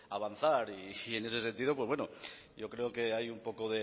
avanzar y en ese sentido yo creo que hay un poco